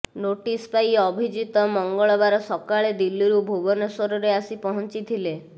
notice ପାଇ ଅଭିଜିତ ମଙ୍ଗଳବାର ସକାଳେ ଦିଲ୍ଲୀରୁ ଭୁବନେଶ୍ୱରରେ ଆସି ପହଞ୍ଚିଥିଲେ